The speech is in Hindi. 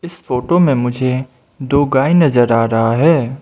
इस फोटो में मुझे दो गाय नजर आ रहा है।